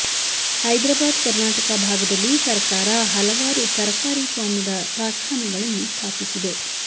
ಹೈದ್ರಾಬಾದ ಕರ್ನಾಟಕ ಭಾಗದಲ್ಲಿ ಸರಕಾರ ಹಲವಾರು ಸರಕಾರಿ ಸೌಮ್ಯದ ಕಾರ್ಖಾನೆಗಳನ್ನು ಸ್ಥಾಪಿಸಿದೆ